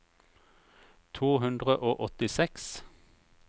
to hundre og åttiseks